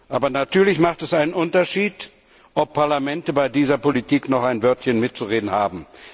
Aber natürlich macht es einen Unterschied, ob Parlamente bei dieser Politik noch ein Wörtchen mitzureden haben.